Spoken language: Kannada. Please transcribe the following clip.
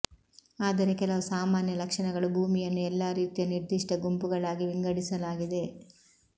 ಆದರೆ ಕೆಲವು ಸಾಮಾನ್ಯ ಲಕ್ಷಣಗಳು ಭೂಮಿಯನ್ನು ಎಲ್ಲಾ ರೀತಿಯ ನಿರ್ದಿಷ್ಟ ಗುಂಪುಗಳಾಗಿ ವಿಂಗಡಿಸಲಾಗಿದೆ